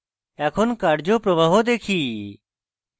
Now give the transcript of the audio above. এখন কার্য প্রবাহ বুঝি